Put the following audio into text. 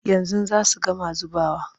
Yanzu za su gama zubawa.